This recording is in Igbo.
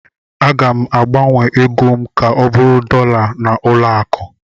Aga m agbanwe ego m ka ọ bụrụ dọla na ụlọ akụ